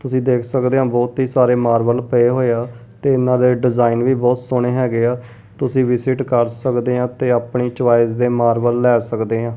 ਤੁਸੀਂ ਦੇਖ ਸਕਦੇ ਹੋ ਬਹੁਤ ਹੀ ਸਾਰੇ ਮਾਰਬਲ ਪਏ ਹੋਏ ਆ ਤੇ ਇਹਨਾਂ ਦੇ ਡਿਜ਼ਾਇਨ ਵੀ ਬਹੁਤ ਸੋਹਣੇ ਹੈਗੇ ਆ ਤੁਸੀਂ ਵਿਜਿਟ ਕਰ ਸਕਦੇ ਆ ਤੇ ਆਪਣੀ ਚੋਇਸ ਦੇ ਮਾਰਬਲ ਲੈ ਸਕਦੇ ਆ।